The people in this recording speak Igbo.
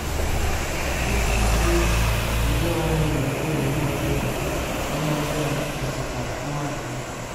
Ndụmọdụ iji “jide onwe anyị n’okpuru ihe ọjọọ” ihe ọjọọ” metụtara mmadụ niile.